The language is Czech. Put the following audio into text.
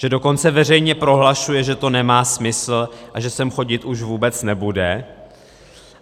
Že dokonce veřejně prohlašuje, že to nemá smysl a že sem chodit už vůbec nebude?